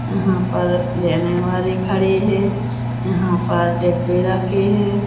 यहां पर लेने वाले खड़े हैं यहां पर डब्बे रखे हैं।